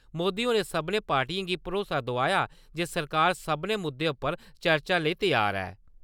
मोदी होरें सभनें पार्टिएं गी भरोसा दोआया जे सरकार सभनें मुद्दे उप्पर चर्चा लेई त्यार ऐ ।